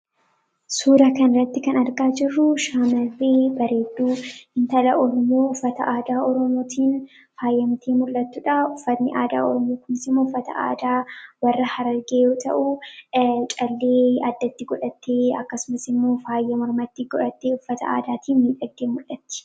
Suura kana irratti kan argaa jirruu, shamarree bareedduu intala Oromoo uffata aadaa oromootiin faayamtee mul'atudha. Uffanni aadaa Oromoo kunis immoo aadaa warra harargee yoo ta'u, callee addatti godhattee akkasumas immoo faaya mormatti godhattee uffata aadaatiin miidhagdee mul'atti.